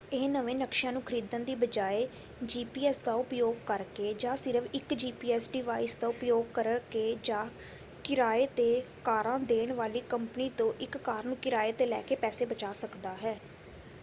ਇਹ ਨਵੇਂ ਨਕਸ਼ਿਆਂ ਨੂੰ ਖਰੀਦਣ ਦੀ ਬਜਾਏ ਜੀਪੀਐਸ ਦਾ ਉਪਯੋਗ ਕਰਕੇ ਜਾਂ ਸਿਰਫ਼ ਇੱਕ ਜੀਪੀਐਸ ਡਿਵਾਇਸ ਦਾ ਉਪਯੋਗ ਕਰਕੇ ਜਾਂ ਕਿਰਾਏ ‘ਤੇ ਕਾਰਾਂ ਦੇਣ ਵਾਲੀ ਕੰਪਨੀ ਤੋਂ ਇੱਕ ਕਾਰ ਨੂੰ ਕਿਰਾਏ ‘ਤੇ ਲੈ ਕੇ ਪੈਸੇ ਬਚਾ ਸਕਦਾ ਹੈ।